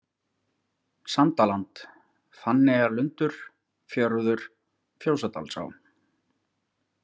Sandaland, Fanneyjarlundur, Fjörður, Fjósadalsá